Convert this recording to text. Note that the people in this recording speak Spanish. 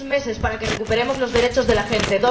dos meses para que recuperemos los derechos de la gente